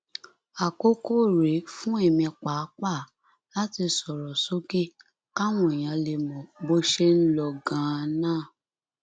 àkókò rèé fún èmi pàápàá láti sọrọ sókè káwọn èèyàn lè mọ bó ṣe ń lọ ganan